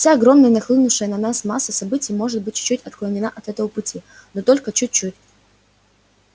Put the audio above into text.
вся огромная нахлынувшая на нас масса событий может быть чуть-чуть отклонена от этого пути но только чуть-чуть